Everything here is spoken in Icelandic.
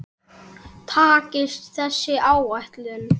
Takist þessi áætlun